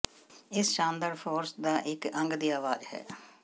ਇਸ ਸ਼ਾਨਦਾਰ ਫੋਰਸ ਦਾ ਇੱਕ ਅੰਗ ਦੀ ਆਵਾਜ਼ ਹੈ